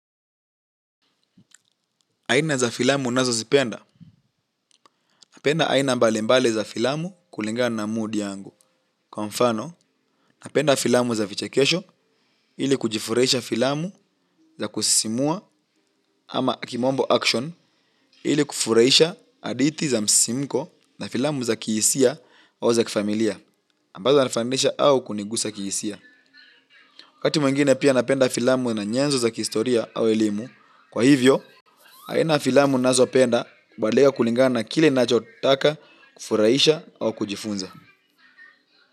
Aina za filamu ninazozipenda, napenda aina mbali mbali za filamu kulinga na mood yangu. Kwa mfano, napenda filamu za vichekesho ili kujifurahisha filamu za kusisimua ama kimombo action ili kufurahisha hadithi za msisimiko na filamu za kihisia au za kifamilia, ambazo nafahamisha au kunigusa kihisia. Wakati mwingine pia napenda filamu na nyenzo za kihistoria au elimu. Kwa hivyo, aina ya filamu ninazopenda hubadilika kulingana kile ninachotaka kufurahisha au kujifunza.